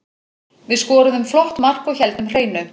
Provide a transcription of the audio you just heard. Við skoruðum flott mark og héldum hreinu.